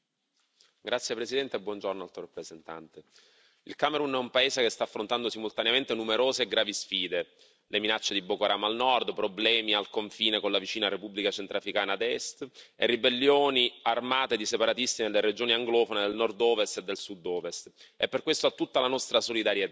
Signor Presidente, onorevoli colleghi, Alto rappresentante, il Camerun è un paese che sta affrontando simultaneamente numerose e gravi sfide, le minacce di Boko Haram al Nord, problemi al confine con la vicina Repubblica Centrafricana ad Est e ribellioni armate di separatisti nelle regioni anglofone del Nordovest e del Sudovest e per questo ha tutta la nostra solidarietà.